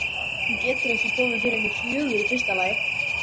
Hún getur ekki komið fyrr en fjögur í fyrsta lagi.